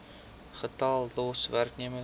getal los werknemers